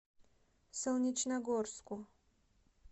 солнечногорску